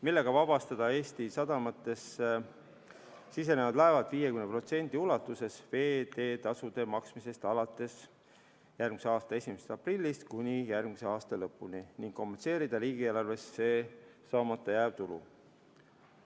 Sellega vabastatakse Eesti sadamatesse sisenevad laevad 50% ulatuses veeteetasude maksmisest alates järgmise aasta 1. aprillist kuni järgmise aasta lõpuni ning kompenseeritakse riigieelarves see saamata jääv tulu.